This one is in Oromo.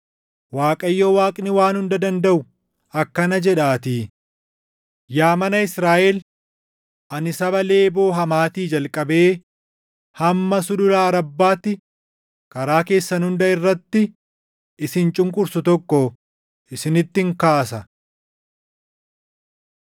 Waaqayyo Waaqni Waan Hunda Dandaʼu akkana jedhaatii; “Yaa mana Israaʼel, ani saba Leeboo Hamaatii jalqabee hamma sulula Arabbaatti karaa keessan hunda irratti isin cunqursu tokko isinittin kaasa.”